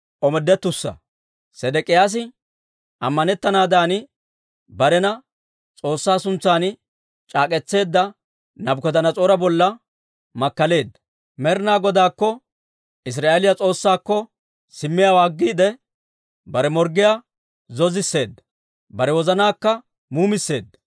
Sedek'iyaasi ammanettanaadan barena S'oossaa suntsan c'aak'k'etseedda Naabukadanas'oora bolla makkaleedda. Med'inaa Godaakko Israa'eeliyaa S'oossaakko simmiyaawaa aggiide, bare morggiyaa zoozisseedda; bare wozanaakka muumisseedda.